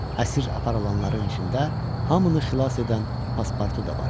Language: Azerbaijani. Əsir aparılanların içində hamını xilas edən pasportu da var idi.